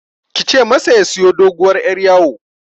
Kice masa ya siyo doguwar Yar yawo